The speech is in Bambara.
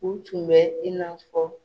U tun bɛ i n'a fɔ